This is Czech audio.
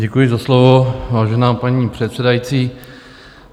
Děkuji za slovo, vážená paní předsedající.